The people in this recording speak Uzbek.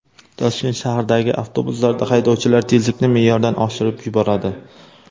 Toshkent shahridagi avtobuslarda haydovchilar tezlikni me’yordan oshirib yuboradi.